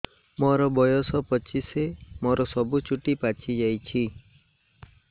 ମୋର ବୟସ ପଚିଶି ମୋର ସବୁ ଚୁଟି ପାଚି ଯାଇଛି